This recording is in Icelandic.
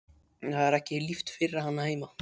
Það er ekki líft fyrir hann heima.